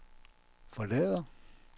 forlader